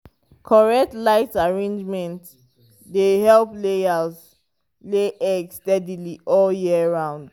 correct light arrangement dey help layers lay egg steady all year round.